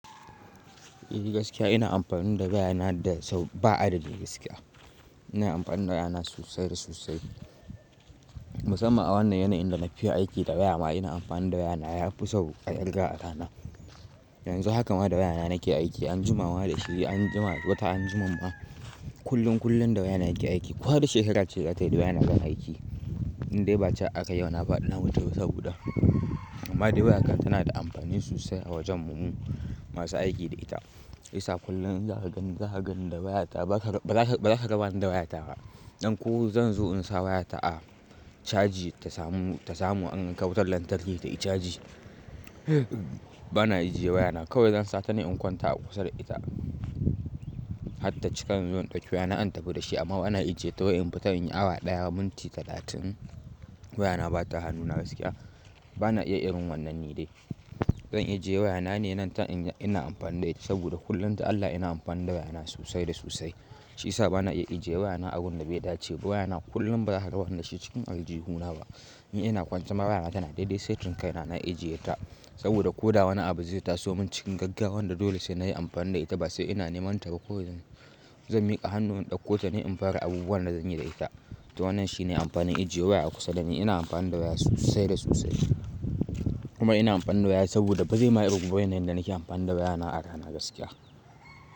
Eh gaskiya ina amfani da wayana da sau ba'a da da gaskiya. Ina amfani da wayana sosai da sosai. Musamman a wannan yanayin da na fi aiki da waya ma ina amfani da wayana yafi sau a kirga a rana. Yanzu hakan ma da wayana nake aiki anjima ma da shi anjima wata anjima ma kullum kullum da waya nake aiki. Ko wace shekarar ce zatayi da wayana zan aiki. Indai ba cewa akayi yau na faɗi na mutu ba saboda. Amma dai waya ta tana da amfani sosai a wajen mu mu masu aiki da ita. Shi yasa kullum in za ka gani za ka gani da wayata ba ba za ka ga rabani da wayata ba. Ɗan ko zan zo in sa wayata a caji ta samu ta samu an kawo ta lantarki tayi caji. Bana ajiye wayana kawai zan sata ne in kwanta a kusa da ita. Har ta cikan inzo in ɗauke wayana in tafi da shi amma bana ajiye ta wai in fita in yi awa ɗaya minti talatin wayana bata hannuna gaskiya. Bana iya irin wannan ni dai. Zan ajiye wayana ne nan ta ina ina amfani da ita saboda kullum ta Allah ina amfani da wayana sosai da sosai. Shi yasa bana iya ajiye wayana abun da bai dace ba wayana kullum ba za ka ga rabani da shi cikin aljihuna ba. In ina kwance ma wayana tana daidai setin kaina na ajiye ta. Saboda ko da wani abu zai taso mun cikin gaggawa wanda dole sai nayi amfani da ita ba sai ina neman ta ba ko zan mika hannun ɗauko ta ne in fara abubuwan da zanyi da ita. To wannan shine amfanin ajiye waya kusa da ni ina amfani da waya sosai da sosai. Kuma ina amfani da waya saboda ba zai ma kirguwa yanayin da nake amfani da wayana a rana gaskiya.